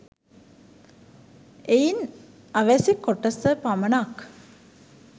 එයින් අවැසි කොටස පමණක්